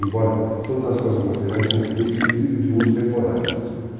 Embora todas as coisas materiais sejam finitas e de de uso temporário.